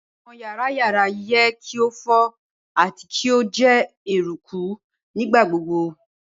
Awọn yara yara yẹ ki o fo ati ki o jẹ eruku nigbagbogbo.